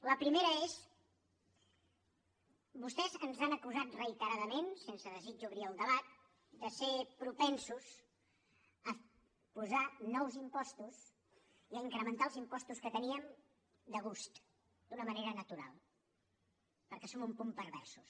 la primera és vostès ens han acusat reiteradament sense desig d’obrir el debat de ser propensos a posar nous impostos i a incrementar els impostos que teníem de gust d’una manera natural perquè som un punt perversos